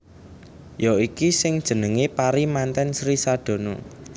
Ya iki sing jenengé pari mantèn Sri Sadana